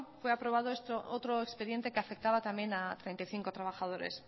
fue aprobado otro expediente que afectaba también a treinta y cinco trabajadores